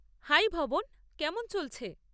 High Bhavan, কেমন চলছে?